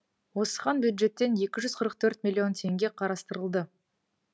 осыған бюджеттен екі жүз қырық төрт миллион теңге қарастырылды